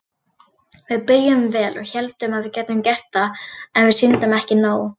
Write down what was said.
Við byrjuðum vel og héldum að við gætum gert það en við sýndum ekki nóg.